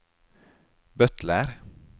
butler